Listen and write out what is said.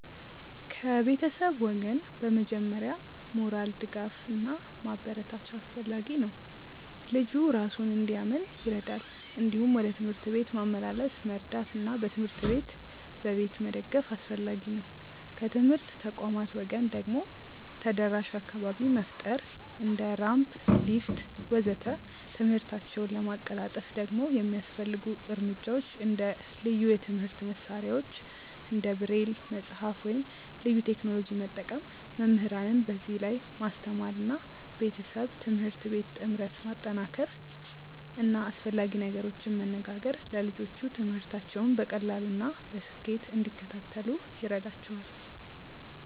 ከቤተሰብ ወገን በመጀመሪያ ሞራል ድጋፍ እና ማበረታቻ አስፈላጊ ነው፣ ልጁ እራሱን እንዲያምን ይረዳል። እንዲሁም ወደ ትምህርት ቤት ማመላለስ መርዳት እና በትምህርት ላይ በቤት መደገፍ አስፈላጊ ነው። ከትምህርት ተቋማት ወገን ደግሞ ተደራሽ አካባቢ መፍጠር እንደ ራምፕ፣ ሊፍት ወዘተ..።ትምህርታቸውን ለማቀላጠፍ ደግሞ የሚያስፈልጉ እርምጃዎች እንደ ልዩ የትምህርት መሳሪያዎች እንደ ብሬል መጽሐፍ ወይም ልዩ ቴክኖሎጂ መጠቀም፣ መምህራንን በዚህ ላይ ማስተማር እና ቤተሰብ-ትምህርት ቤት ጥምረት ማጠናከር እና አስፈላጊ ነገሮችን መነጋገር ለልጆቹ ትምህርታቸውን በቀላሉ እና በስኬት እንዲከታተሉ ይረዳቸዋል።